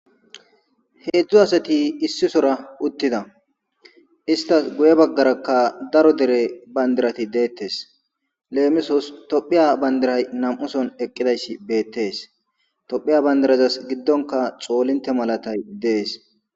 heedzdzu asati issisora uttida istas guye baggarakka daro dere bandirati deettes leemisos tophiya bandiray nam7uson eqqidayssi beettees tophiya bandirazas giddonka xoolinte malatay dees